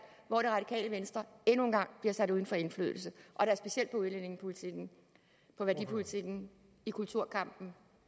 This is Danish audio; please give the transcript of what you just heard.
hvor det radikale venstre endnu en gang bliver sat uden for indflydelse og da specielt på udlændingepolitikken på værdipolitikken i kulturkampen